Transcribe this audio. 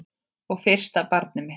Og fyrsta barnið mitt.